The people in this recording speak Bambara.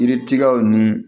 Yiri tigɛw ni